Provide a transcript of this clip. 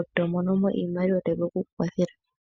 eto monomo iimaliwa tayi vulu oku ku kwathela.